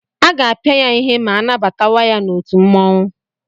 Aga-apịa ya ihe ma anabatawa ya n'otu mmụọnwụ.